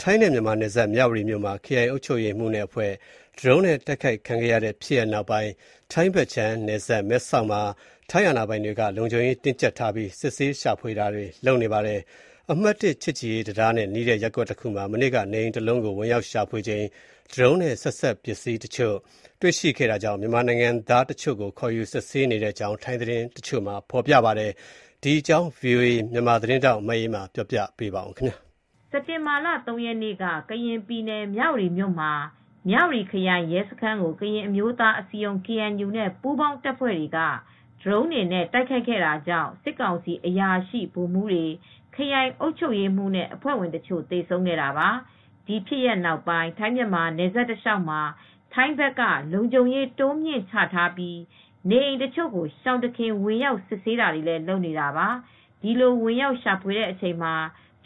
ထိုင်းနဲ့ မြန်မာနယ်စပ် မြဝတီမြို့မှာ ခရိုင်အုပ်ချုပ်ရေးမှူးနဲ့အဖွဲ့ ဒရုန်းနဲ့ တိုက်ခိုက်ခံရတဲ့ ဖြစ်ရပ်နောက်ပိုင်း ထိုင်းဘက်ခြမ်း နယ်စပ်မြို့ မဲဆောက်မှာ ထိုင်း အာဏာပိုင်တွေက လုံခြုံရေး တင်းကျပ်ထားပြီး စစ်ဆေး ရှာဖွေတာတွေ လုပ်နေပါတယ်။ အမှတ် (၁) ချစ်ကြည်ရေး တံတားနဲ့ နီးတဲ့ ရပ်ကွက်တခုမှာ မနေ့က နေအိမ်တလုံးကို ဝင်ရောက် ရှာဖွေချိန် ဒရုန်းနဲ့ ဆက်စပ်ပစ္စည်း တချို့ တွေ့ရှိခဲ့တာကြောင့် မြန်မာနိုင်ငံသား တချို့ကို ခေါ်ယူ စစ်ဆေးနေတဲ့အကြောင်း ထိုင်းသတင်းတချို့က ဖော်ပြောပါတယ်။ ဒီအကြောင်း ထိုင်းအခြေစိုက် ဗွီအိုအေ မြန်မာသတင်းထောက် မအေးအေးမာက တင်ပြထားပါတယ်။ စက်တင်ဘာလ ၃ ရက်နေ့က ကရင်ပြည်နယ် မြ၀တီမြို့မှာ မြ၀တီခရိုင်ရဲစခန်းကို ကရင်အမျိုးသားအစည်းအရုံး ကေအန်ယူနဲ့ ပူးပေါင်း တပ်ဖွဲ့တွေက ဒရုန်းနဲ့ တိုက်ခိုက်ခဲ့တာကြောင့် စစ်ကောင်စီအရာရှိ ဗိုလ်မှူးတွေ၊ ခရိုင်အုပ်ချုပ်ရေးမှူးနဲ့ အဖွဲ့ဝင်တချို့ သေဆုံးခဲ့တာပါ။ ဒီဖြစ်ရပ်နောက်ပိုင်း ထိုင်းမြန်မာနယ်စပ် တလျှောက်မှာ ထိုင်းဘက်က လုံခြုံရေး တိုးမြှင့်ချထားပြီး နေအိမ်တချို့ကို ရှောင်တခင် ဝင်ရောက် စစ်ဆေးတာတွေ လုပ်နေတာပါ။ ဒီလို ဝင်ရောက်ရှာဖွေတဲ့အချိန်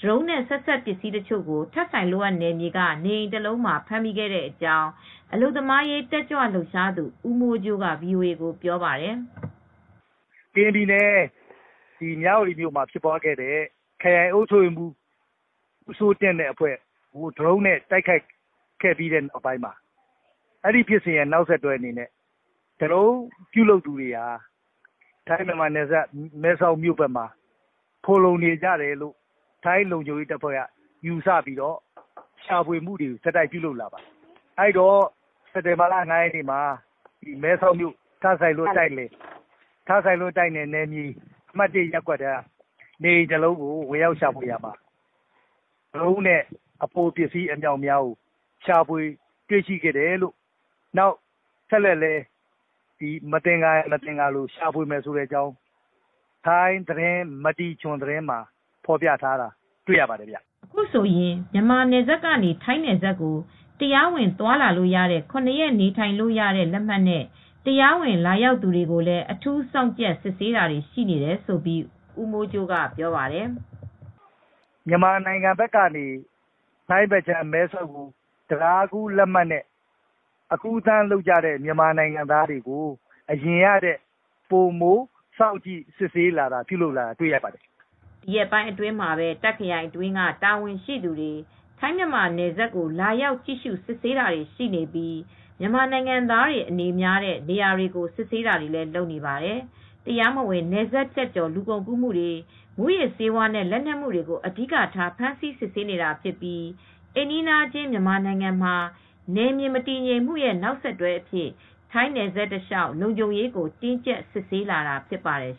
ဒရုန်းနဲ့ ဆက်စပ်ပစ္စည်း တချို့ကို ထစိုင်လွတ်နယ်မြေက နေအိမ်တလုံးမှာ ဖမ်းမိခဲ့တဲ့အကြောင်း အလုပ်သမားရေး တက်ကြွလှုပ်ရှားသူ ဦးမိုးကြိုးက ဗွီအိုအေကို ပြောပါတယ်။ "ကရင်ပြည်နယ် မြ၀တီမြို့မှာ ဖြစ်ပွားခဲ့တဲ့ ခရိုင်အုပ်ချုပ်ရေးမှူး ဦးစိုးတင့်နဲ့အဖွဲ့ကို ဒရုန်း နဲ့တိုက်ခိုက်တဲ့ ဖြစ်စဉ် ဖြစ်ပြီးတဲ့နောက်မှာတော့ အဲ့ဒီဒရုန်း ပြုလုပ်သူတွေဟာ ထိုင်းနယ်စပ်မှာမဲဆောက်ဘက်မှာ ခိုလှုံနေထိုင်နေတယ်လို့ ထိုင်းလုံခြုံရေးအဖွဲ့တွေက ယူဆတဲ့အတွက် ရှာဖွေ မှုတွေကို ဆက်တိုက် လုပ်လာပါတယ်။ အဲဒီတော့ စက်တင်ဘာလ ၅ ရက်နေ့က မဲဆောက်မြို့က ထစိုင်လွတ်နယ်မြေ အမှတ်၁ ရပ်ကွက်အတွင်းက နေအိမ်တလုံးကို ထိုင်းရဲတပ်ဖွဲ့ ဝင်ရောက်ရှာဖွေခဲ့ရာမှာ ဒရုန်းနဲ့ဆက်စပ် အပိုပစ္စည်း အမြောက်အများကို ရှာဖွေ တွေ့ရှိခဲ့တယ်လို့ ဆက်လက်လည်း မသင်္ကာရင် မသင်္ကာသလို ရှာဖွေမယ်လို့ ထိုင်းအာဏာပိုင်တွေက ပြောကြောင်း ထိုင်းမာတီချွန်သတင်းမှာ ဖော်ပြပါတယ်။" အခုဆိုရင် မြန်မာနယ်စပ်ကနေ ထိုင်းနယ်စပ်ကို တရားဝင် သွားလာလို့ ရတဲ့ ၇ ရက် နေထိုင်လို့ရတဲ့ လက်မှတ်နဲ့ တရားဝင် လာသူတွေကိုလည်း အထူးစောင့်ကြပ် စစ်ဆေးတာတွေ ရှိနေတယ်လို့လည်း ဦးမိုးကြိုးက ပြောပါတယ်။ "မြန်မာနိုင်ငံဘက်ကနေ မဲဆောက်ဘက်ကို တံတားကူးလာတဲ့ မြန်မာနိုင်ငံသားတွေကို အရင်ကထက် အထူး စစ်ဆေး စောင့်ကြည့်မှုတွေ လုပ်ဆောင်နေတာကိုလည်း တွေ့ရပါတယ်။" ဒီရက်ပိုင်းအတွင်းမှာပဲ တာခ့်ခရိုင်အတွင်းက တာဝန်ရှိသူတွေ ထိုင်းမြန်မာနယ်စပ်ကို လာရောက်ကြည့်ရှု စစ်ဆေးတာတွေ ရှိနေပြီး မြန်မာနိုင်ငံသားတွေ အနေများတဲ့ နေရာတွေကို စစ်ဆေးတာတွေ လုပ်နေပါတယ်။ တရားမဝင် နယ်စပ်ဖြတ်ကျော် လူကုန်ကူးမှုတွေ၊ မူးယစ်ဆေးဝါးနဲ့ လက်နက်မှုတွေကို အဓိကထား ဖမ်းဆီး စစ်ဆေးနေတာ ဖြစ်ပြီး အိမ်နီးချင်း မြန်မာနိုင်ငံမှာ နယ်မြေ မတည်ငြိမ်မှုတွေရဲ့ နောက်ဆက်တွဲအဖြစ် ထိုင်းနယ်စပ်တလျှောက် လုံခြုံရေးကို တင်းကြပ်စစ်ဆေးလာတာ ဖြစ်ပါတယ်